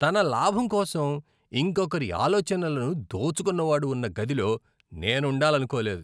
తన లాభం కోసం ఇంకొకరి ఆలోచనలను దోచుకున్నవాడు ఉన్న గదిలో నేను ఉండాలనుకోలేదు.